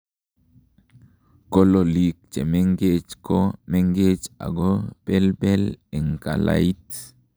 kololik chemengech ko mengech ago belbel en kalait